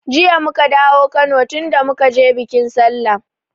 Jiya muka dawo Kano tunda muka je biƙin sallah